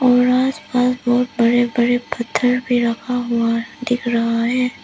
Barrage पर बहुत बड़े बड़े पत्थर भी रखा हुआ दिख रहा है।